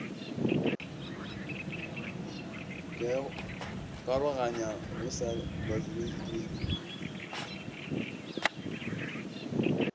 ikaroganyago go sa balobedu e